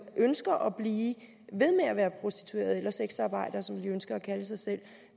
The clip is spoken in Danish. ønsker at blive ved med at være prostitueret eller sexarbejder som de ønsker at kalde sig selv